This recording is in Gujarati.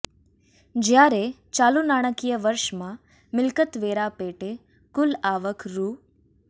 જયારે ચાલુ નાણાકીય વર્ષમાં મિલ્કતવેરા પેટે કુલ આવક રૂ